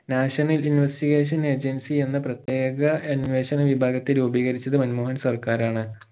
national investigation agency എന്ന പ്രത്യേക അന്വേഷണ വിഭാഗത്തെ രൂപീകരിച്ചത് മൻമോഹൻ സർക്കാരാണ്